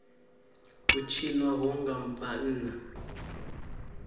u tshinwa ho nga vhanna